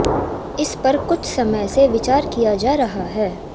इस पर कुछ समय से विचार किया जा रहा है